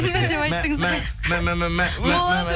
мә мә мә мә мә